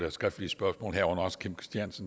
et skriftligt spørgsmål